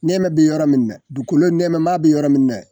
Nɛmɛ be yɔrɔ min dɛ duukolo nɛmɛma be yɔrɔ min dɛ